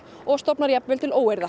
og stofnar jafnvel til óeirða